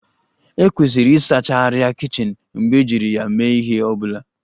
E kwesiri ịsacha arịa kichin mgbe ejiri ya mee ihe ọ bụla